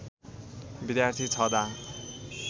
विद्यार्थी छदाँ